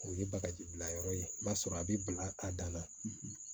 O ye bagaji bila yɔrɔ ye i b'a sɔrɔ a bɛ bila a dan na